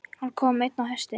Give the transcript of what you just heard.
Hann kom einn á hesti.